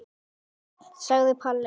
sagði Palli.